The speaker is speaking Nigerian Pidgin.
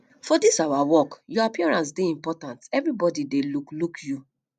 for dis our work your appearance dey important everbodi dey look look you